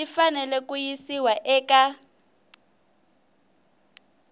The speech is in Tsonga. xi fanele ku yisiwa eka